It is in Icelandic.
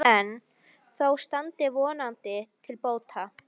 Ekki enn, þó það standi vonandi til bóta.